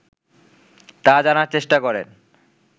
তা জানার চেষ্টা করেন